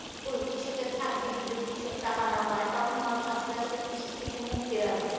কৃষকের থাকবে কি যদি কৃষক টাকা না পাই তখন মানুষ আস্তে আস্তে কৃষির থেকে মুখ ফিরাবে